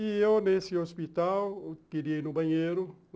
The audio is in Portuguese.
E eu, nesse hospital, queria ir no banheiro.